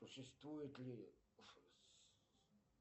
существует ли